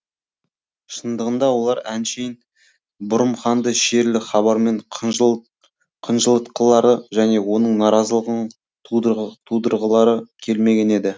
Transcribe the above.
шындығында олар әншейін бұрым ханды шерлі хабармен қынжылытқылары және оның наразылығын тудырғылары келмеген еді